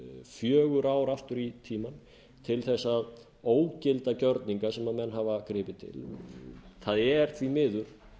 fjögur ár aftur í tímann til að ógilda gjörninga sem menn hafa gripið til það er því miður